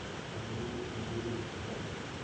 андрей андреевич зайцев